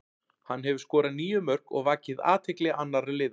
Hann hefur skorað níu mörk og vakið athygli annara liða.